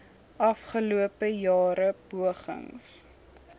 afgelope jare pogings